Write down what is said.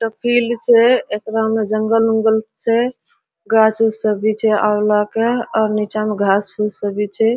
Failed छे एकरा में जंगल-ओंगल छे गाछ-ओछ सभी छे अउला के और निचा में घास-फुस छे।